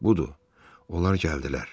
Budur, onlar gəldilər.